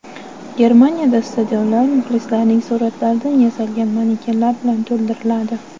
Germaniyada stadionlar muxlislarning suratlaridan yasalgan manekenlar bilan to‘ldiriladi.